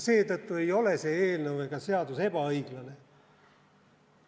Seetõttu ei ole see eelnõu ega seadus ebaõiglane.